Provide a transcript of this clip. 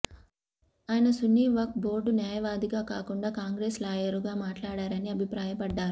ఆయన సున్ని వక్ఫ్ బోర్డు న్యాయవాదిగా కాకుండా కాంగ్రెస్ లాయరుగా మాట్లాడారని అభిప్రాయపడ్డారు